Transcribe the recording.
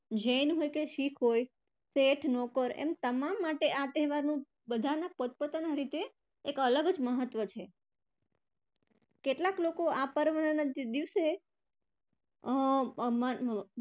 જૈન હોય કે સીખ હોય, શેઠ નોકર એમ તમામ માટે આ તહેવારનો બધાનો પોતપોતાનો રીતે એક અલગ જ મહત્વ છે કેટલાક લોકો આ પર્વના દિવસે અમ